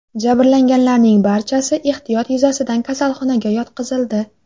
Jabrlanganlarning barchasi ehtiyot yuzasidan kasalxonaga yotqizildi.